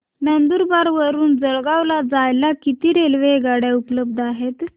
नंदुरबार वरून जळगाव ला जायला किती रेलेवगाडया उपलब्ध आहेत